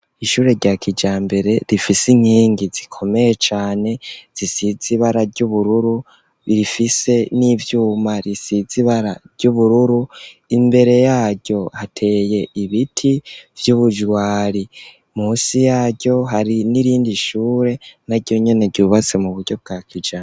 Ishure rya kijambere rifise inkingi zikomeye cane zisizibara ry'ubururu rifise n'ivyuma risizibara ryubururu imbere yaryo hateye ibiti vy'ubujwari munsi yaryo hari n'irindi ishure na ryonyene ryubatse mu buryo bwa kija.